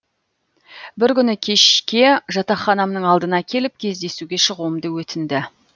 бір күні кешке жатақханамның алдына келіп кездесуге шығуымды өтінді